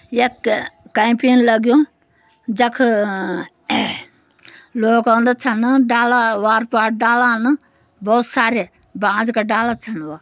यक कैम्पिन लग्यूं जख अ लोग औंदा छन। डाला वार पोर डाला न बोहोत सारे बांज क डाला छन वा।